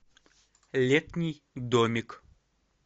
летний домик